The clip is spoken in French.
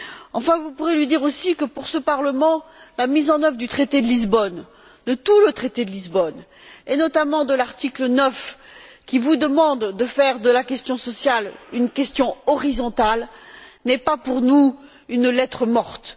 Enfin, vous pourrez lui dire aussi que, pour ce Parlement, la mise en œuvre du traité de Lisbonne, de tout le traité de Lisbonne, et notamment de l'article 9 qui vous demande de faire de la question sociale une question horizontale, n'est pas pour nous lettre morte.